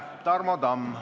Tarmo Tamm.